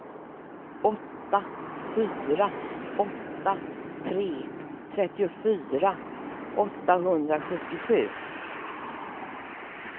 åtta fyra åtta tre trettiofyra åttahundrasjuttiosju